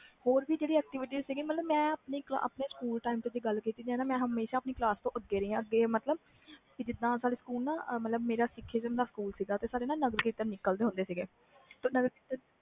ਹੋਰ ਵੀ activite ਸੀ ਜੇ ਮੈਂ ਆਪਣੇ ਦੀ ਗੱਲ ਕੀਤੀ ਜਾਵੇ ਆਪਣੀ ਕਲਾਸ ਤੋਂ ਅੱਗੇ ਰਹੀ ਆ ਜਿਥੈ ਸਾਡੇ ਸਕੂਲ ਨਾ ਸਿੱਖੀ ਦਾ ਸਕੂਲ ਸੀ ਸਾਡੇ ਨਾ ਨਗਰਕੀਰਤਨ ਨਿਕਲ ਦੇ ਹੁੰਦੇ ਸੀ